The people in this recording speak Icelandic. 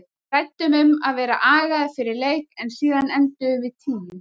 Við ræddum um að vera agaðir fyrir leik en síðan endum við tíu.